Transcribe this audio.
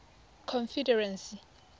confederacy